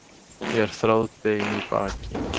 Ég er þráðbein í baki.